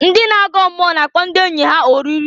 Ndị na-agọ mmụọ na-akpọ ndị enyi ha oriri.